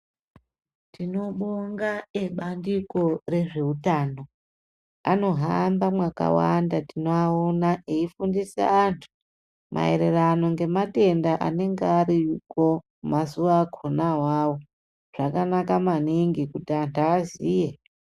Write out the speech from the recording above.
Tinobonga ebandiko rezvewutano, anohamba mwakawanda. Tinowawona eyifundisa antu mayererano ngematenda anenge ariko mazuwakhona wawo. Zvakanaka maningi kuti antu aziye.